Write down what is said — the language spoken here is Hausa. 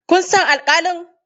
Kun san alƙalin?